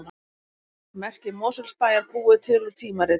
Merki Mosfellsbæjar búið til úr tímaritum